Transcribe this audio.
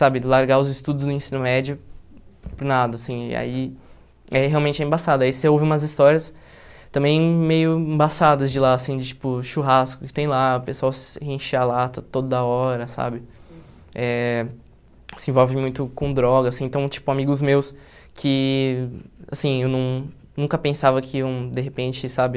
sabe, largar os estudos do ensino médio por nada, assim, aí é realmente é embaçado, aí você ouve umas histórias também meio embaçadas de lá, assim, de tipo churrasco que tem lá, o pessoal se enche a lata toda hora, sabe, eh se envolve muito com drogas, assim, então, tipo, amigos meus que, assim, eu não nunca pensava que iam de repente, sabe,